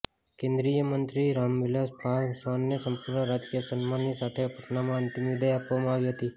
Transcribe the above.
કેન્દ્રિય મંત્રી રામવિલાસ પાસવાનને સંપૂર્ણ રાજકીય સન્માનની સાથે પટનામાં અંતિમ વિદાય આપવામાં આવી હતી